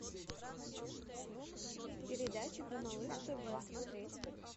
передачи по малыш тв смотреть